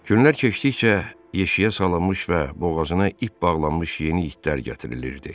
Günlər keçdikcə yeşiyə salınmış və boğazına ip bağlanmış yeni itlər gətirilirdi.